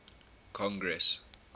congress